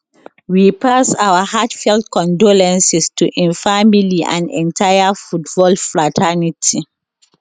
we pass our heartfelt condolences to im family and entire football fraternity